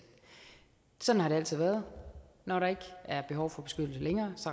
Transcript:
sådan har det altid været når der ikke er behov for beskyttelse længere